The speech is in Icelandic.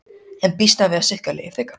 En býst hann við að styrkja liðið frekar?